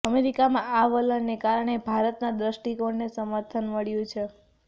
અમેરિકાઆ આ વલણને કારણે ભારતનાં દ્રષ્ટિકોણને સમર્થન મળ્યું છે